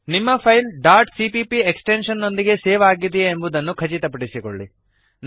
ನಿಮ್ಮ file dot CPP extension ನೊಂದಿಗೆ save ಅಗಿದೆಯೇ ಎಂಬುದನ್ನು ಖಚಿತಪಡಿಸಿಕೊಳ್ಳಿ